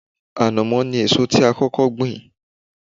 Ànàmọ́ ni èso tí a kọ́kọ́ gbìn